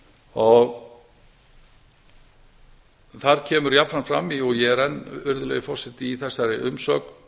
æskulýðsstarfi þar kemur jafnframt fram og ég er enn í þessari umsögn